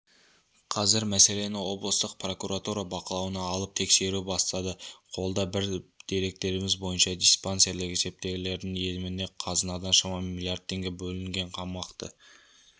қазір мәселені облыстық прокуратура бақылауына алып тексеру бастады қолда бар деректеріміз бойынша диспансерлік есептегілердің еміне қазынадан шамамен миллиард теңге бөлінген қомақты